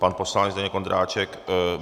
Pan poslanec Zdeněk Ondráček.